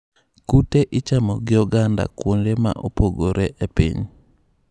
Kute ichamo gi oganda kuonde ma opogore e piny.